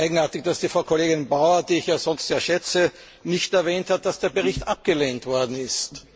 Ich finde es eigenartig, dass Frau Kollegin Bauer, die ich ja sonst sehr schätze, nicht erwähnt hat, dass der Bericht abgelehnt worden ist.